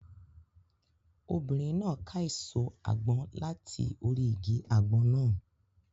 Obìnrin náà ká èso àgbọn láti orí igi àgbọn náà.